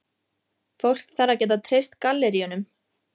Fólk þarf að geta treyst galleríunum.